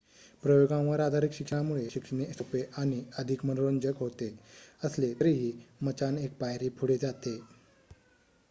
प्रयोगांवर आधारित शिक्षणामुळे शिकणे सोपे आणि अधिक मनोरंजक होत असले तरीही मचाण एक पायरी पुढे जाते